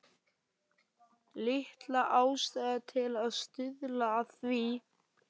Lítil ástæða til að stuðla að því.